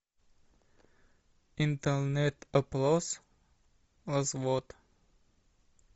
интернет опрос развод